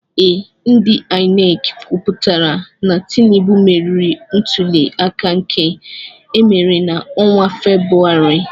Ee, ndị INEC kwụpụtara na Tinubu meriri ntuli aka nke emere na-ọnwa Febrụwarị.